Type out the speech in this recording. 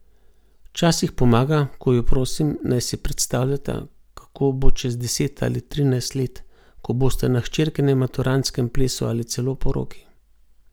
Včasih pomaga, ko ju prosim, naj si predstavljata, kako bo čez deset ali trinajst let, ko bosta na hčerkinem maturantskem plesu ali celo poroki.